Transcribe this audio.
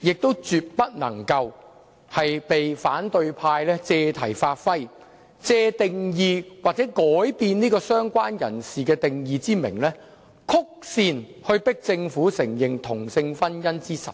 絕不能被反對派議員借題發揮，以修改"相關人士"定義為名，曲線迫使政府承認同性婚姻為實。